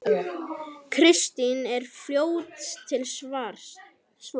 Kristín er fljót til svars.